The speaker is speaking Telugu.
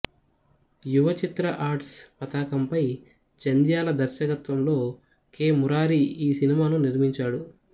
యువ చిత్ర ఆర్ట్స్ పతాకంపై జంధ్యాల దర్శకత్వంలో కె మురారి ఈ సినిమాను నిర్మించాడు